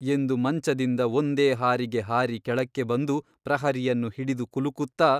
ಎಂದು ಮಂಚದಿಂದ ಒಂದೇ ಹಾರಿಗೆ ಹಾರಿ ಕೆಳಕ್ಕೆ ಬಂದು ಪ್ರಹರಿಯನ್ನು ಹಿಡಿದು ಕುಲುಕುತ್ತಾ.